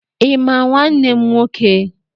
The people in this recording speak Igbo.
Ị ma nwanne m nwoke?